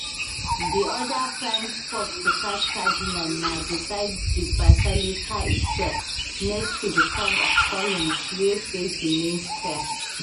di oda prime spot to catch cardinal na beside di basilica itself next to di curve of columns wey face di main square